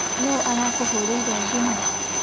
Nũ arakũhũrĩĩre thimu?